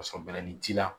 Ka sɔrɔ bɛlɛnin ji la